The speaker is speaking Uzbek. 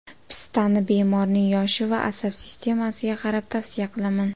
Pistani bemorning yoshi va asab sistemasiga qarab tavsiya qilaman.